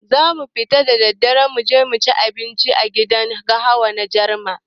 Zamu fita da daddare muje cin abincin dare a gidan gahawa na Jarma.